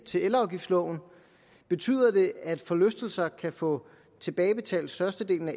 til elafgiftsloven betyder det at forlystelser kan få tilbagebetalt størstedelen af